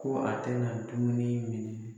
Ko a tɛ na dumuni minɛ.